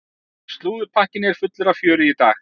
Slúðurpakkinn er fullur af fjöri í dag.